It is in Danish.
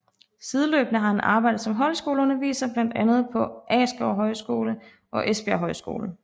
Sideløbende har han arbejdet som højskoleunderviser blandt andet på Askov Højskole og Esbjerg Højskole